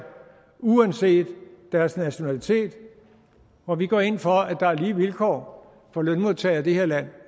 uanset deres nationalitet og vi går ind for at der er lige vilkår for lønmodtagere i det her land